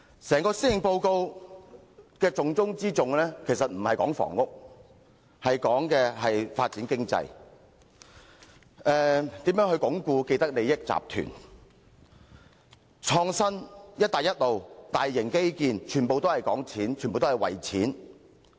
整份施政報告的重中之重，並不在於房屋政策，而是在於如何發展經濟、鞏固既得利益集團、創新、"一帶一路"、大型基建，全部講金錢。